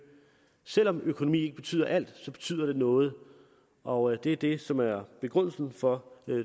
selv om økonomi ikke betyder alt betyder det noget og det er det som er begrundelsen for